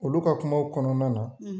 Olu ka kumaw kɔnɔna na